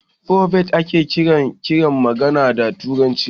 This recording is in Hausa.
"Frobab" ake kiran karin magana da turanci